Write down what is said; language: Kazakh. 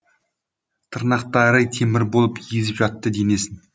тырнақтары темір болып езіп жатты денесін